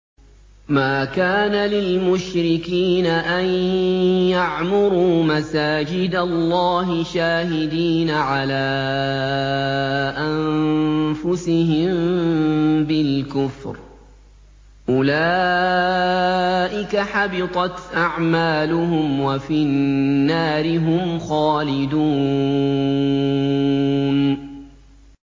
مَا كَانَ لِلْمُشْرِكِينَ أَن يَعْمُرُوا مَسَاجِدَ اللَّهِ شَاهِدِينَ عَلَىٰ أَنفُسِهِم بِالْكُفْرِ ۚ أُولَٰئِكَ حَبِطَتْ أَعْمَالُهُمْ وَفِي النَّارِ هُمْ خَالِدُونَ